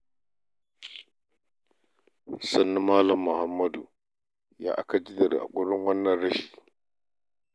Sannu Mal. Muhammad ya aka ji da haƙurin wannan rashi?